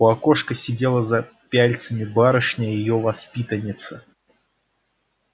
у окошка сидела за пяльцами барышня её воспитанница